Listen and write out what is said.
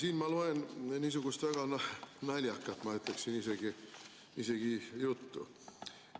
Siin ma loen niisugust väga naljakat, ma ütleksin isegi, juttu.